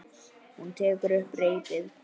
Hún tekur upp reipið.